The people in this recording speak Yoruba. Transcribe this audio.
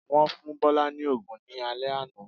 Wọ́n fún Bọ́lá ní òògùn ní alé àná